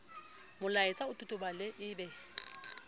molaetsa o totobale e be